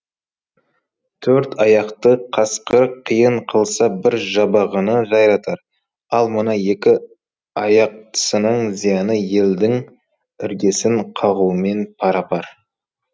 төрт аяқты қасқыр қиын қылса бір жабағыны жайратар ал мына екі аяқтысының зияны елдің іргесін қағумен пара пар